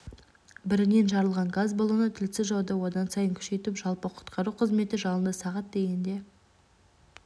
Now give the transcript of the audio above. бірінен жарылған газ баллоны тілсіз жауды одан сайын күшейтіп жалпы құтқару қызметі жалынды сағат дегенде